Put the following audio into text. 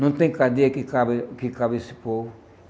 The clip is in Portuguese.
Não tem cadeia que cabe que caiba esse povo.